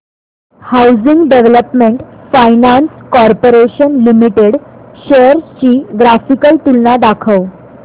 housing Development Finance Corporation Limited shares ची graphical तुलना दाखव